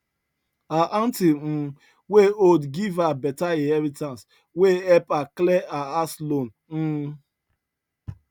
her auntie um wey old give her better inheritance wey help her clear her house loan um